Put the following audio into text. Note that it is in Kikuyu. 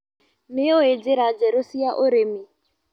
Nĩũĩ njĩra njerũ cia ũrĩmi.